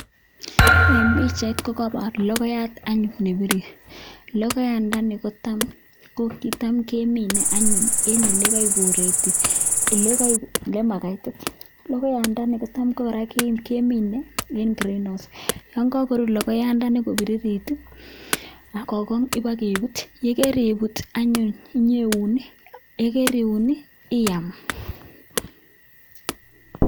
En pichait kogoibor logoyat anyun nebirir. Logoyandani ko kitam kemine anyun en ele u Bureti ele makaiti. Logoyandani kotam ko kora kemine en green house yon kagorur logoyandani kobiririt ak ko gong ibokebut, ye keribut anyun ibokeuen, ye keriun iam.